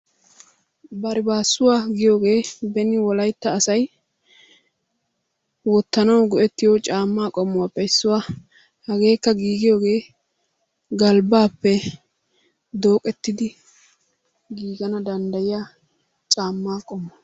Barbbaassuwa giyoogee beni wolaytta asay wottanawu go'ettiyo caamaa qommuwappe issuwa. Hageekka giigiyoge galbaappe dooqettidi giiganna dandayiyaa caamaa qommo.